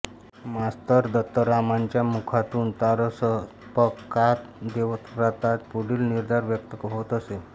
master दत्तारामांच्या मुखातून तारसप्तकात देवव्रताचा पुढील निर्धार व्यक्त होत असे